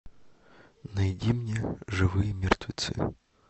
найди мне живые мертвецы